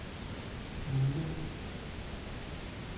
Millinge